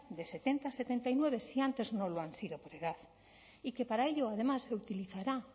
de setenta setenta y nueve si antes no lo han sido por edad y que para ello además se utilizará